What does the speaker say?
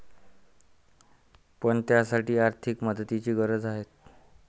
पण, त्यासाठी आर्थिक मदतीची गरज आहे.